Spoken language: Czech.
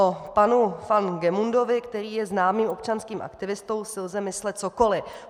O panu van Gemundovi, který je známým občanským aktivistou, si lze myslet cokoli.